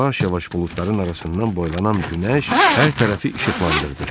Yavaş-yavaş buludların arasından boylanan günəş hər tərəfi işıqlandırdı.